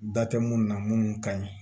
Da tɛ munnu na munnu ka ɲi